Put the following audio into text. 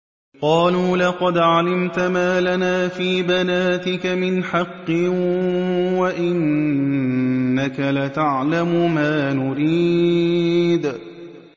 قَالُوا لَقَدْ عَلِمْتَ مَا لَنَا فِي بَنَاتِكَ مِنْ حَقٍّ وَإِنَّكَ لَتَعْلَمُ مَا نُرِيدُ